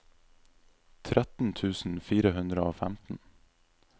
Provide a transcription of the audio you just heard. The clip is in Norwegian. tretten tusen fire hundre og femten